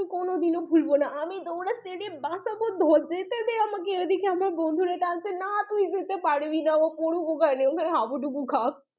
কখনো ভুলব না মানে আমি দৌড়াচ্ছি বাঁচাতে বলছি যেতে দে আমাকে আমার বন্ধুরা বলছে না তুই যেতে পারবি না ও পড়ুক ওখানে।, হাবুডুবু খাক।